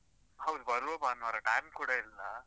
ಹೌದು ಬರುವ ಭಾನ್ವಾರ, time ಕೂಡ ಇಲ್ಲ.